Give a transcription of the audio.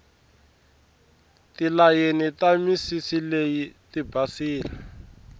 tilayeni ta misisi leyi tibasile